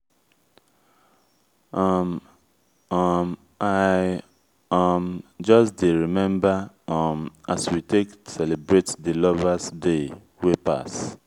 um um i um just dey rememba um as we take celebrate di lover's day wey pass.